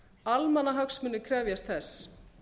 almannahagsmunir krefjast þess